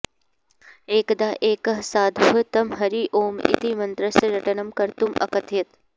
एकदा एकः साधुः तं हरि ओम् इति मन्त्रस्य रटनं कर्तुम् अकथयत्